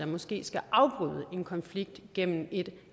måske skal afbryde en konflikt gennem et